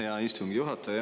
Hea istungi juhataja!